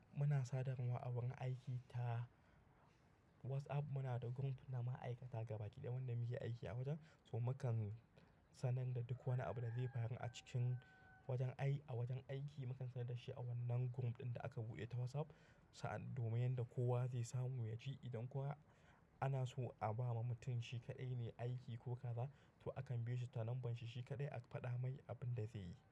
Muna sadarwar agurin aiki ta WhatsApp. Muna da group na ma'aikata gaba ɗaya, wanda muke aiki a wajen. So mu kan sanan da duk wani abu da zai faru a cikin wajen ai a wajen aiki, mu kan sanar da shi a wannan group ɗin da aka buɗe ta WhatsApp. Sa'ad domin yadda kowa zai samu ya ji. Idan kuwa ana so a ba wa mutum shi kaɗai ne aiki ko kaza, to akan biyo shi ta nombar shi shi kaɗai aka faɗa mai abin da zai yi.